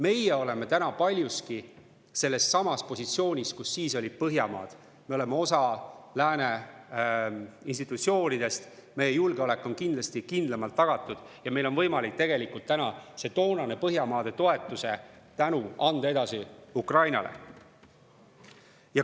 Meie oleme täna paljuski sellessamas positsioonis, kus siis olid Põhjamaad, me oleme osa lääne institutsioonidest, meie julgeolek on kindlasti kindlamalt tagatud ja meil on võimalik tegelikult nüüd see toonane Põhjamaade toetuse tänu anda edasi Ukrainale.